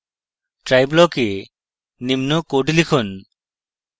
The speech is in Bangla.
try block এ নিম্ন code লিখুন